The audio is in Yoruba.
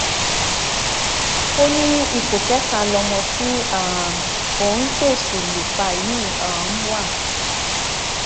ó ní ipò kẹta lọmọ tí um òun ṣèèṣì lù pa yìí um wà